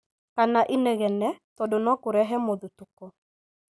kana inegene, tondũ no kũrehe mũthutũko.